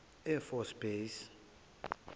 air force base